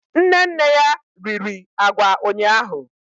Nne nne ya riri agwa ụnyahụ